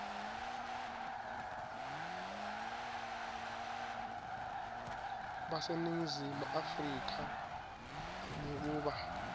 baseningizimu afrika ngekuba